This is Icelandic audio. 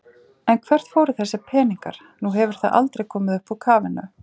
En hvert fóru þessir peningar, nú hefur það aldrei komið upp úr kafinu?